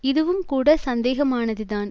இதுவும் கூட சந்தேகமானது தான்